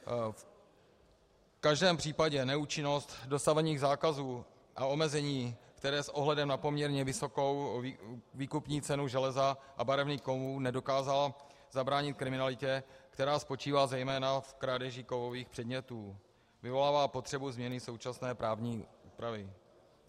V každém případě neúčinnost dosavadních zákazů a omezení, které s ohledem na poměrně vysokou výkupní cenu železa a barevných kovů nedokázaly zabránit kriminalitě, která spočívá zejména v krádeži kovových předmětů, vyvolává potřebu změny současné právní úpravy.